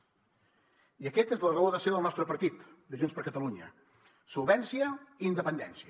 i aquesta és la raó de ser del nostre partit de junts per catalunya solvència i independència